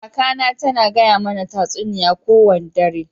Kaka na ta na gaya mana tasuniya ko wanda dare.